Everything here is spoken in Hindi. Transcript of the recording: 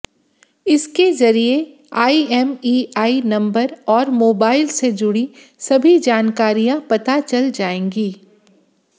इसके जरिये आईएमईआई नंबर और मोबाइल से जुड़ी सभी जानकारियां पता चल जाएंगी